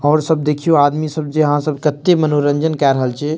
और सब देखियो आदमी सब जे हां सब केत्ते मनोरंजन के रहल छे।